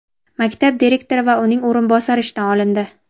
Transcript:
maktab direktori va uning o‘rinbosari ishdan olindi.